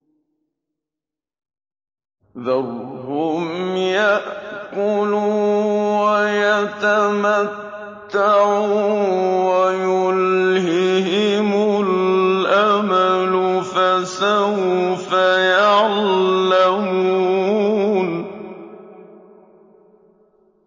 ذَرْهُمْ يَأْكُلُوا وَيَتَمَتَّعُوا وَيُلْهِهِمُ الْأَمَلُ ۖ فَسَوْفَ يَعْلَمُونَ